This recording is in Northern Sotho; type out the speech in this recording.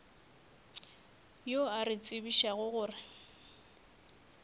yo a re tsebišago gore